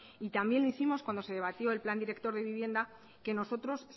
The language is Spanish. y también lo hicimos cuando se debatió el plan director de vivienda que nosotros